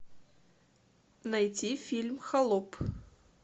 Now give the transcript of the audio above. найти фильм холоп